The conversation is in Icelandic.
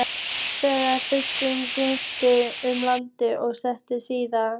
Þannig ferðaðist Grikkinn um landið og einangraði stýri.